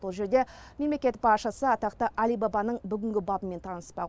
ол жерде мемлекет басшысы атақты алибабаның бүгінгі бабымен таныспақ